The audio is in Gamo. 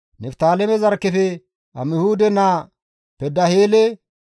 Niftaaleme zarkkefe Amihuude naa Pedaheele.»